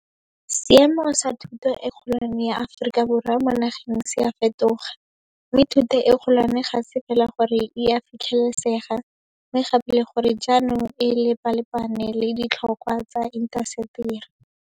Seemo sa thuto e kgolwane ya Aforika Borwa mo nageng se a fetoga, mme thuto e kgolwane ga se fela gore e a fitlhelesega, mme gape le gore jaanong e lepalepane le di tlhokwa tsa intaseteri.